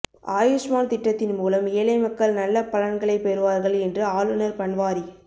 ஆயுஷ்மான் திட்டத்தின் மூலம் ஏழை மக்கள் நல்ல பலன்களை பெறுவார்கள் என்று ஆளுநர் பன்வாரி